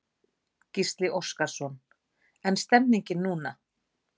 Gísli Óskarsson: En stemningin núna?